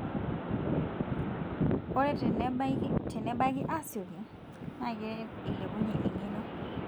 ore tenebaaki asioki na keret ailepunyie engeno.